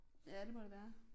Ja det må det være